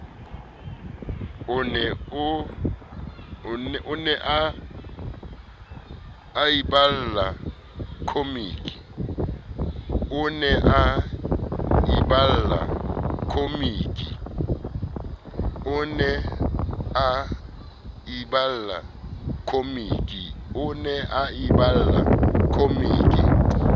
o ne a iballa khomiki